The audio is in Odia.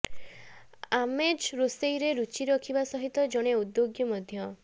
ଆମ୍ଜେ ରୋଷେଇରେ ରୁଚି ରଖିବା ସହିତ ଜଣେ ଉଦ୍ୟୋଗୀ ମଧ୍ୟ